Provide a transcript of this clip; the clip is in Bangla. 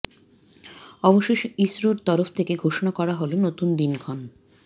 অবশেষে ইসরোর তরফ থেকে ঘোষণা করা হল নতুন দিনক্ষণ